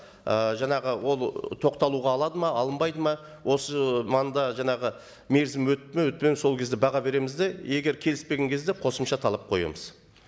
ы жаңағы ол тоқталуға алады ма алынбайды ма осы манда жаңағы мерзім өтті ме өтпеді сол кезде баға береміз де егер келіспеген кезде қосымша талап қоямыз